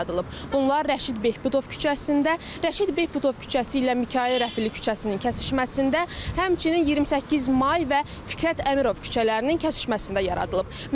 Bunlar Rəşid Behbudov küçəsində, Rəşid Behbudov küçəsi ilə Mikayıl Rəfili küçəsinin kəsişməsində, həmçinin 28 may və Fikrət Əmirov küçələrinin kəsişməsində yaradılıb.